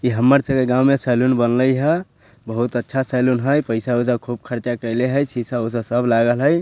इ हमर सबके गांव में सैलून बनले हेय बहुत अच्छा सैलून हेय पैसा उसा बहुत खर्चा कइले हेय सीसा-उषा सब लागल हेय।